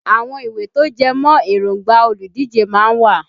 Àwọn ìwé tó jẹmọ́ èróngbà olùdíje má ń wà